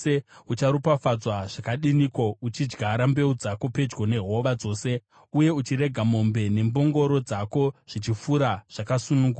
ucharopafadzwa zvakadiniko, uchidyara mbeu dzako pedyo nehova dzose, uye uchirega mombe nembongoro dzako zvichifura zvakasununguka!